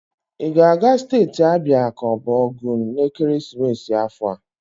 I ga-aga steeti Abia ka ọ bụ Ogun n'ekeresimesi afọ a?